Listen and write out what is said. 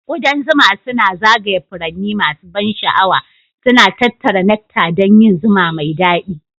Ƙudan zuma suna zagaya furanni masu ban sha'awa, suna tattara nectar don yin zuma mai daɗi